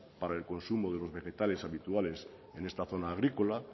para el consumo de los vegetales habituales en esta zona agrícola